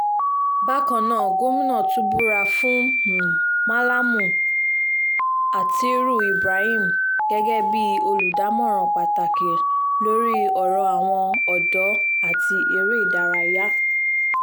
bákan náà gomina tún búra fún um mallam atttiriu ibrahim gẹ́gẹ́ bíi olùdámọ̀ràn pàtàkì lórí ọ̀rọ̀ àwọn ọ̀dọ́ àti eré um ìdárayá